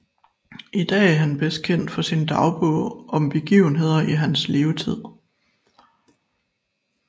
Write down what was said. I dag er han bedst kendt for sin dagbog om begivenheder i hans levetid